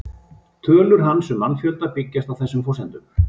Tölur hans um mannfjölda byggjast á þessum forsendum.